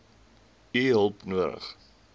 u hulp nodig